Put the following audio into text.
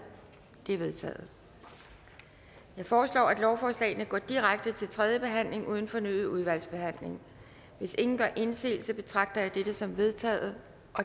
det er vedtaget jeg foreslår at lovforslagene går direkte til tredje behandling uden fornyet udvalgsbehandling hvis ingen gør indsigelse betragter jeg dette som vedtaget